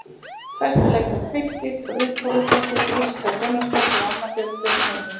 Bestu leikmenn Fylkis: Ruth Þórðardóttir, Íris Dögg Gunnarsdóttir og Anna Björg Björnsdóttir.